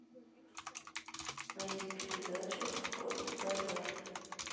найди передачу форт боярд